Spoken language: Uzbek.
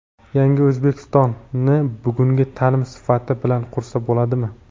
"Yangi O‘zbekiston"ni bugungi taʼlim sifati bilan qursa bo‘ladimi?.